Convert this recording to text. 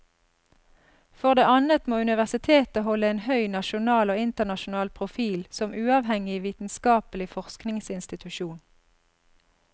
For det annet må universitetet holde en høy nasjonal og internasjonal profil som uavhengig vitenskapelig forskningsinstitusjon.